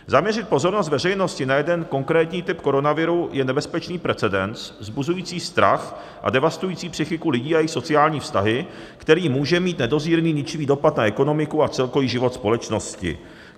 Zaměřit pozornost veřejnosti na jeden konkrétní typ koronaviru je nebezpečný precedens vzbuzující strach a devastující psychiku lidí a jejich sociální vztahy, který může mít nedozírný ničivý dopad na ekonomiku a celkový život společnosti."